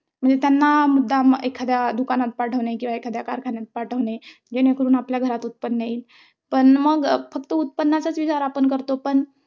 म्हणजे त्यांना मुद्दाम एखाद्या दुकानात पाठवणे किंवा एखाद्या कारखान्यात पाठवणे जेणेकरून आपल्या घरात उत्त्पन्न येईल. पण मग फक्त उत्पन्नाचा विचार आपण करतो पण,